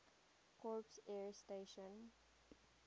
corps air station